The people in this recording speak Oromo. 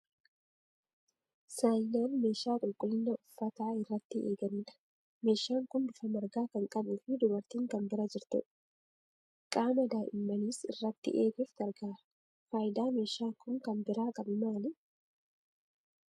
Saayinaan meeshaa qulqullina uffataa irratti eeganidha. Meeshaan kun bifa margaa kan qabuu fi dubartiin kan bira jirtu dha. Qaama da'immaniis irratti eeguuf gargaara. Faayidaa meeshaan kun kan biraan qabu maali?